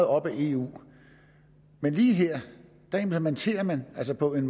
op ad eu men lige her implementerer man altså på en